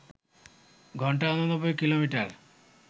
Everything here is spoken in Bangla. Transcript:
ঘণ্টায় ৮৯ কিলোমিটার